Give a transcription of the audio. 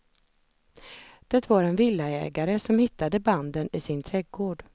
Det var en villaägare som hittade banden i sin trädgård.